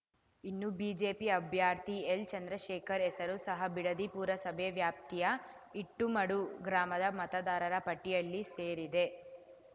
ಇನ್ನು ಬಿಜೆಪಿ ಅಭ್ಯರ್ಥಿ ಎಲ್‌ಚಂದ್ರಶೇಖರ್‌ ಹೆಸರು ಸಹ ಬಿಡದಿ ಪುರಸಭೆ ವ್ಯಾಪ್ತಿಯ ಇಟ್ಟುಮಡು ಗ್ರಾಮದ ಮತದಾರರ ಪಟ್ಟಿಯಲ್ಲಿ ಸೇರಿದೆ